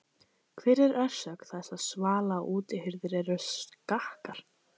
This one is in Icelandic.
Hver er orsök þess að svala- og útihurðir eru skakkar?